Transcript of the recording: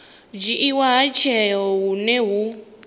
dzhiiwa ha tsheo hune hu